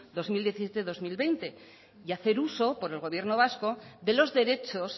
dos mil diecisiete dos mil veinte y hacer uso por el gobierno vasco de los derechos